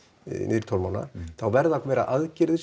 niður í tólf mánaða þá verða að vera aðgerðir